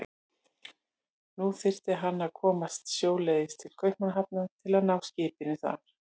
Nú þyrfti hann að komast sjóleiðis til Kaupmannahafnar til að ná skipinu þar.